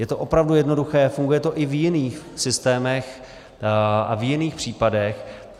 Je to opravdu jednoduché, funguje to i v jiných systémech a v jiných případech.